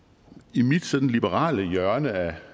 i mit sådan liberale hjørne af